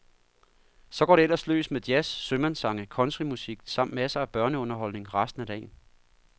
Så går det ellers løs med jazz, sømandssange, countrymusik samt masser af børneunderholdning resten af dagen.